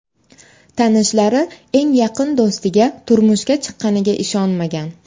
Tanishlari eng yaqin do‘stiga turmushga chiqqaniga ishonmagan.